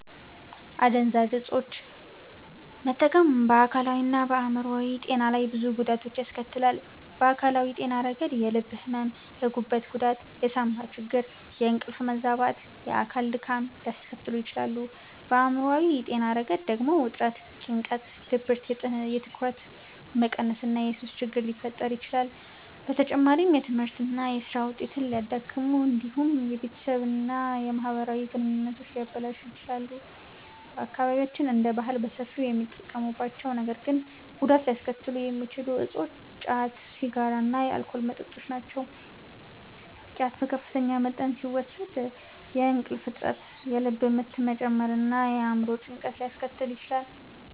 አደንዛዥ ዕፆችን መጠቀም በአካላዊና በአእምሯዊ ጤና ላይ ብዙ ጉዳቶችን ያስከትላል። በአካላዊ ጤና ረገድ የልብ ሕመም፣ የጉበት ጉዳት፣ የሳንባ ችግር፣ የእንቅልፍ መዛባት እና የአካል ድካም ሊያስከትሉ ይችላሉ። በአእምሯዊ ጤና ረገድ ደግሞ ውጥረት፣ ጭንቀት፣ ድብርት፣ የትኩረት መቀነስ እና የሱስ ችግር ሊፈጠር ይችላል። በተጨማሪም የትምህርትና የሥራ ውጤትን ሊያዳክሙ እንዲሁም የቤተሰብና የማህበራዊ ግንኙነቶችን ሊያበላሹ ይችላሉ። በአካባቢያችን እንደ ባህል በሰፊው የሚጠቀሙባቸው ነገር ግን ጉዳት ሊያስከትሉ የሚችሉ እፆች ጫት፣ ሲጋራ እና የአልኮል መጠጦች ናቸው። ጫት በከፍተኛ መጠን ሲወሰድ የእንቅልፍ እጥረት፣ የልብ ምት መጨመር እና የአእምሮ ጭንቀት ሊያስከትል ይችላል።